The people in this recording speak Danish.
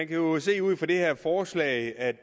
kan jo se ud fra det her forslag at